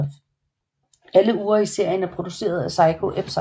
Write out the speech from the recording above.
Alle ure i serien er produceret af Seiko Epson